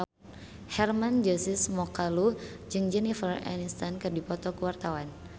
Hermann Josis Mokalu jeung Jennifer Aniston keur dipoto ku wartawan